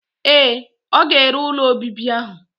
Ee, ọ ga-ere ụlọ obibi ahụ.